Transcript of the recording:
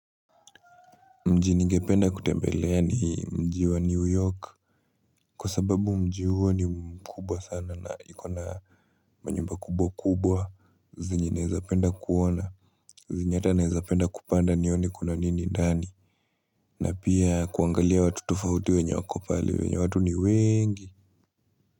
Mjini ngependa kutembelea ni mji wa New York kwa sababu mji wa ni mkubwa sana na ikona manyumba kubwa kubwa zenye naweza penda kuona zenye hata naweza penda kupanda nioni kuna nini ndani na pia kuangalia watu tofauti wenye wakopale wenye watu ni wengi.